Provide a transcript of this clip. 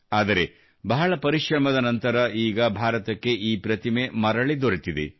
ಆದರೆ ಬಹಳ ಪರಿಶ್ರಮದ ನಂತರ ಈಗ ಭಾರತಕ್ಕೆ ಈ ಪ್ರತಿಮೆ ಮರಳಿ ದೊರೆತಿದೆ